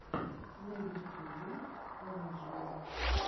на ютюбе анджли